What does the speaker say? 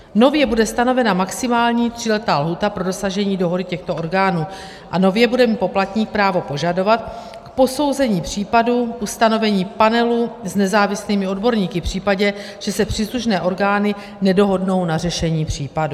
Nově bude stanovena maximální tříletá lhůta pro dosažení dohody těchto orgánů a nově bude mít poplatník právo požadovat k posouzení případu ustanovení panelu s nezávislými odborníky v případě, že se příslušné orgány nedohodnou na řešení případu.